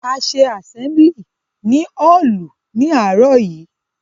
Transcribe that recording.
A ṣe àsẹ́mlì ní hálù ní àárò yìí.